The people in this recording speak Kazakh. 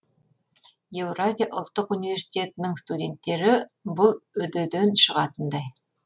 еуразия ұлттық университетінің студенттері бұл үдүдүн шығатындай